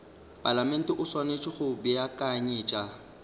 palamente o swanetše go beakanyetša